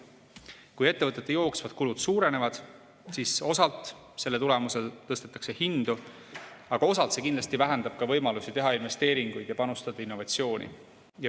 Kui ettevõtete jooksvad kulud suurenevad, siis osalt selle tulemusel tõstetakse hindu, aga osalt see kindlasti vähendab võimalusi teha investeeringuid ja panustada innovatsiooni.